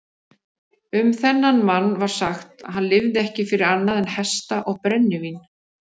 Um þennan mann var sagt að hann lifði ekki fyrir annað en hesta og brennivín.